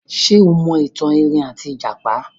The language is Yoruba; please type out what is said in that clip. Ṣé o mọ ìtàn erin àti ìjàpá?